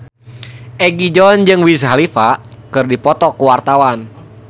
Egi John jeung Wiz Khalifa keur dipoto ku wartawan